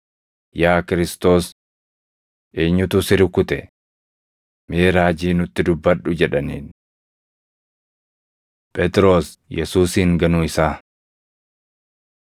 “Yaa Kiristoos! Eenyutu si rukute? Mee raajii nutti dubbadhu” jedhaniin. Phexros Yesuusin Ganuu Isaa 26:69‑75 kwf – Mar 14:66‑72; Luq 22:55‑62; Yoh 18:16‑18,25‑27